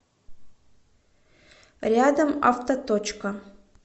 рядом автоточка